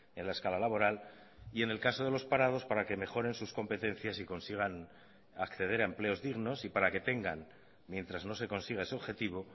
en la escala laboral y en el caso de los parados para que mejoren sus competencias y consigan acceder a empleos dignos y para que tengan mientras no se consiga ese objetivo